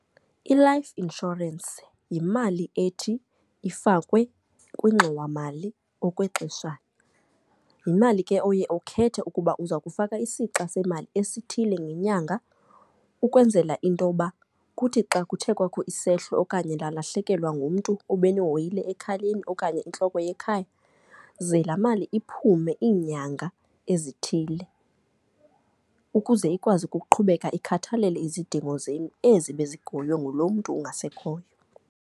I-life insurance yimali ethi ifakwe kwingxowamali okwexeshana. Yimali ke oye ukhethe ukuba uza kufaka isixa semali esithile ngenyanga ukwenzela into yoba kuthi xa kuthe kwakho isehlo okanye nalahlekelwa ngumntu obenohoyile ekhayeni okanye intloko yekhaya, ze laa mali iphume iinyanga ezithile. Ukuze ikwazi ukuqhubeka ikhathalele izidingo zenu ezi bezihoywe ngulo mntu ungasekhoyo.